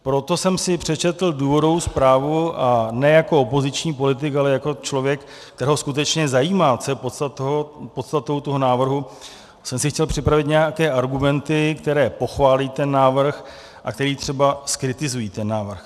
Proto jsem si přečetl důvodovou zprávu a ne jako opoziční politik, ale jako člověk, kterého skutečně zajímá, co je podstatou toho návrhu, jsem si chtěl připravit nějaké argumenty, které pochválí ten návrh a které třeba zkritizují ten návrh.